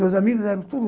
Meus amigos eram tudo...